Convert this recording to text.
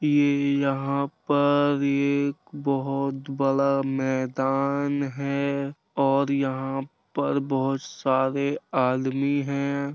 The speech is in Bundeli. ये यहाँ पर ये एक बहोत बड़ा मैदान है और यहाँ पर बहोत सारे आदमी हैं।